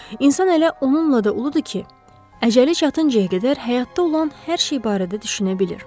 İnsan elə onunla da uludur ki, əcəli çatıncaya qədər həyatda olan hər şey barədə düşünə bilir.